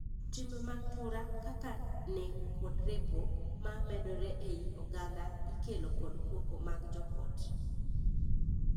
Timbe mag tura, kaka nek kod repo, ma medore ei oganda ikelo kod koko mag joot.